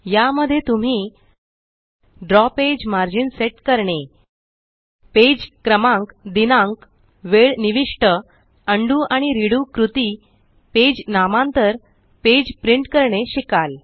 या मध्ये तुम्ही द्रव पेज मर्जीन सेट करणे पेज क्रमांक दिनांक वेळ निविष्ट उंडो आणि रेडो कृती पेज नामांतर पेज प्रिंट करणे शिकाल